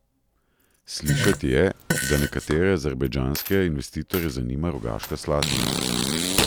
Slišati je, da nekatere azerbajdžanske investitorje zanima Rogaška Slatina?